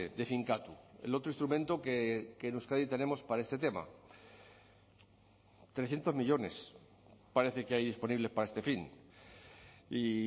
de finkatu el otro instrumento que en euskadi tenemos para este tema trescientos millónes parece que hay disponibles para este fin y